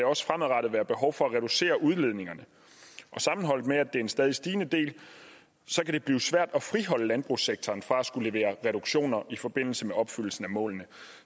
også fremadrettet være behov for at reducere udledningerne og sammenholdt med at det er en stadig stigende del kan det blive svært at friholde landbrugssektoren fra at skulle levere reduktioner i forbindelse med opfyldelsen af målene